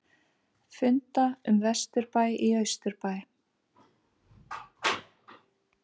Funda um vesturbæ í austurbæ